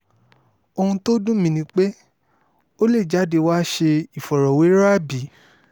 ohun tó dùn mí ni pé ó lè jáde wàá ṣe ìfọ̀rọ̀wérọ̀ àbí